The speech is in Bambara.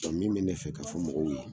Ɔn min be ne fɛ ka fɔ mɔgɔw ye